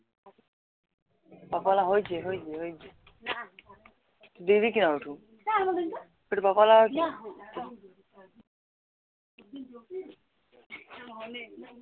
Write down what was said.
হৈছে হৈছে হৈছে